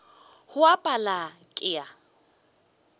go a pala ke a